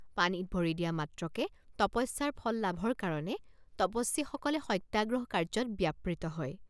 পানীত ভৰি দিয়া মাত্ৰকে তপস্যাৰ ফল লাভৰ কাৰণে তপস্বীসকলে সত্যাগ্ৰহ কাৰ্যত ব্যাপৃত হয়।